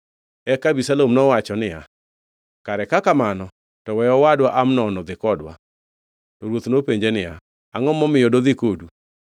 Eka Abisalom nowacho niya, “Kare ka kamano to we owadwa Amnon odhi kodwa.” To ruoth nopenje niya, “Angʼo momiyo dodhi kodu?”